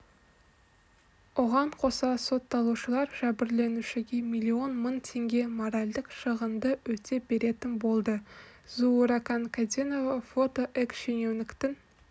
оған қоса сотталушылар жәбірленушіге миллион мың теңге моральдық шығынды өтеп беретін болды зууракан кәденова фото экс-шенеуніктің